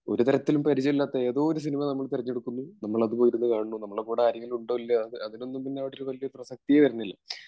ഒരു തരത്തിലും പരിജയം ഇല്ലാത്ത ഏതൊയൊരു സിനിമ തിരഞ്ഞെടുക്കുന്നു നമ്മളത് പോയിരുന്നു കാണുന്നു നമ്മളുടെ കൂടെ ആരെങ്കിലുമുണ്ടോ ഇല്ലയോ അതിലൊന്നും പിന്നെ യാതൊരു പ്രശസ്തിയും വരുന്നില്ല